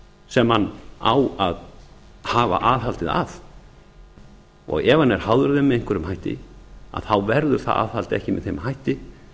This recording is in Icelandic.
sem hann á að hafa aðhaldið að ef hann er háður þeim með einhverjum hætti þá verður það aðhald ekki með þeim hætti